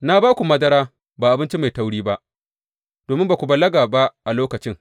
Na ba ku madara ba abinci mai tauri ba, domin ba ku balaga ba a lokacin.